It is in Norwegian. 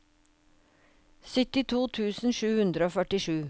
syttito tusen sju hundre og førtisju